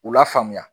U la faamuya